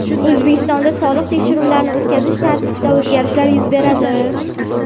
O‘zbekistonda soliq tekshiruvlarini o‘tkazish tartibida o‘zgarishlar yuz beradi.